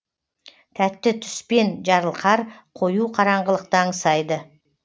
тәтті түспен жарылқар қою қараңғылықты аңсайды